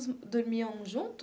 Dormiam junto?